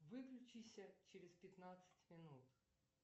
выключись через пятнадцать минут